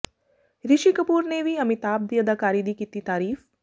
ਰਿਸ਼ੀ ਕਪੂਰ ਨੇ ਵੀ ਅਮਿਤਾਭ ਦੀ ਅਦਾਕਾਰੀ ਦੀ ਕੀਤੀ ਤਾਰੀਫ